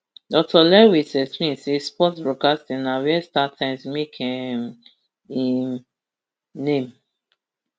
dr lewis explain say sports broadcasting na wia startimes make um im name